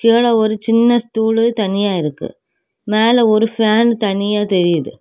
கீழ ஒரு சின்ன ஸ்டூல்லு தனியா இருக்கு. மேல ஒரு ஃபேன் தனியா தெரியுது.